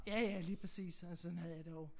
Ja ja lige præcis og sådan havde jeg det også